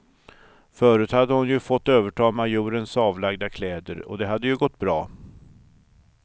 Förut hade hon ju fått överta majorens avlagda kläder, och det hade ju gått bra.